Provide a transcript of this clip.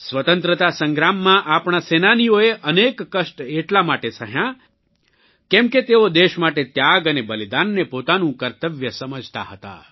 સ્વતંત્રતા સંગ્રામમાં આપણા સેનાનીઓએ અનેક કષ્ટ એટલા માટે સહ્યાં કેમ કે તેઓ દેશ માટે ત્યાગ અને બલિદાનને પોતાનું કર્તવ્ય સમજતા હતા